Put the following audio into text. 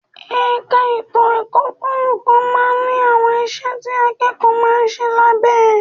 Ẹ̀ka ètò ọkọ̀ kọ̀ọ̀kan máa ń ní àwọn iṣẹ́ tí akẹ́kọ̀ọ́ máa ń ṣe lábẹ́ ẹ